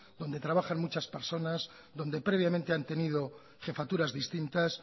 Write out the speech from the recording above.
donde trabajan muchas personas donde previamente han tenido jefaturas distintas